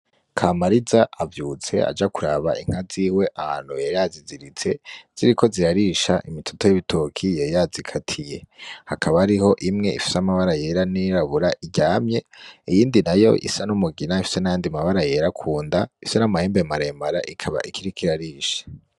Kamariza avyutse aja kuraba inka ziwe ahantu yari yaziziritse ziriko zirarisha imitoto y'ibitoki yari yazikatiye, hakaba hariho imwe ifise amabara yera n'iyirabura iryamye, iyindi nayo isa n'umugina ifise nayandi mabara yera kunda Ifise n'amahembe maremare ikaba ikiriko irarisha.